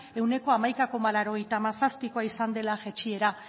ehuneko hamaika koma laurogeita hamazazpikoa izan dela jaitsiera